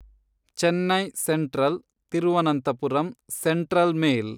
Chennai central Thiruvananthapuram central mail